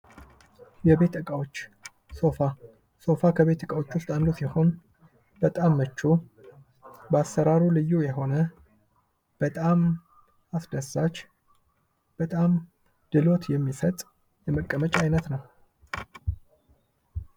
የቤት እቃዎች ሶፋ ከቤት እቃዎች ውስጥ አንዱ ሲሆን በጣም ምቹ በአሰራሩ ልዩ የሆነ ፤በጣም አስደሳች በጣም ፤በጣም ድሎት የሚሰጥ የመቀመጫ አይነት ነው።